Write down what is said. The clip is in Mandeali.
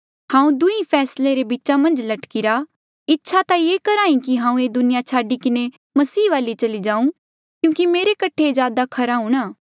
हांऊँ दुंहीं फैसले रे बीचा मन्झ लटकीरा इच्छा ता ये करहा ई कि हांऊँ ये दुनिया छाडी किन्हें मसीह वाले चला जाऊं क्यूंकि मेरे कठे ये ज्यादा खरा हूंणां